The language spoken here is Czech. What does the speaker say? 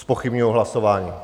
Zpochybňuji hlasování.